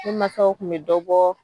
Ne masaw tun bɛ dɔ bɔ